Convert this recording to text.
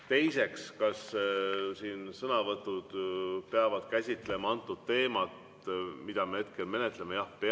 Teiseks, kas siin sõnavõtud peavad käsitlema teemat, mida me hetkel menetleme?